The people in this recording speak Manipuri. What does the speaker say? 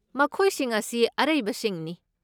ꯃꯈꯣꯏꯁꯤꯡ ꯑꯁꯤ ꯑꯔꯩꯕꯁꯤꯡꯅꯤ꯫